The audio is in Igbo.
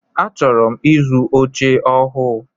Achọrọ m ịzụ oche ọhụụ.